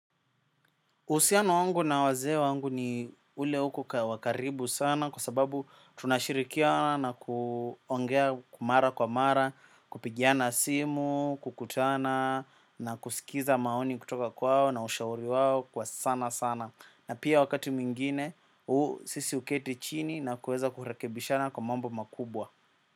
Uhusiano wangu na wazee wangu ni ule uko wa karibu sana kwa sababu tunashirikiana na kuongea mara kwa mara, kupigiana simu, kukutana na kusikiza maoni kutoka kwao na ushauri wawo kwa sana sana. Na pia wakati mwigine, sisi huketi chini na kuweza kurekebishana kwa mambo makubwa.